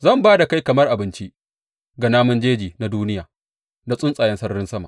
Zan ba da kai kamar abinci ga namun jeji na duniya da tsuntsayen sararin sama.